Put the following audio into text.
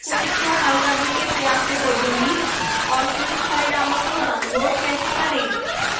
quiz को हल करने के प्रयासों को डिलीट और quiz परिणामों को download कैसे करें